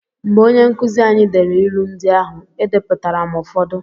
Mgbe onye nkụzi anyị dere ịlụ ndị ahụ, E depụtara m ụfọdụ.